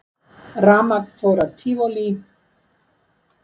Rafmagn fór af Tívolí